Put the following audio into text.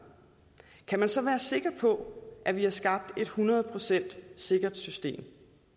kan man så være sikker på at vi har skabt et hundrede procent sikkert system